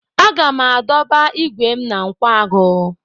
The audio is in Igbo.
Aga m adọba igwe m na nkwagu.